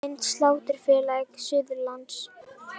Mynd: Sláturfélag Suðurlands